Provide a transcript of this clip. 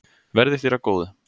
Verði þér að góðu.